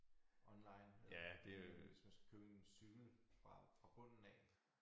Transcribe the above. Online øh men hvis man skal købe en cykelvrag fra bunden af